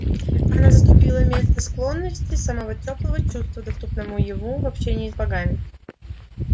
она заступила место склонности самого тёплого чувства доступного ему в общении с богами